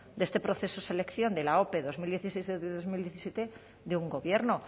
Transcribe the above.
de este proceso de selección de la ope dos mil dieciséis dos mil diecisiete de un gobierno